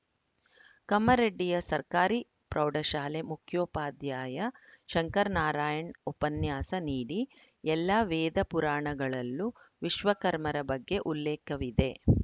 ಕಮ್ಮರಡ್ಡಿಯ ಸರ್ಕಾರಿ ಪ್ರೌಢಶಾಲೆ ಮುಖ್ಯೋಪಾಧ್ಯಾಯ ಶಂಕರನಾರಾಯಣ ಉಪನ್ಯಾಸ ನೀಡಿ ಎಲ್ಲ ವೇದ ಪುರಾಣಗಳಲ್ಲೂ ವಿಶ್ವಕರ್ಮರ ಬಗ್ಗೆ ಉಲ್ಲೇಖವಿದೆ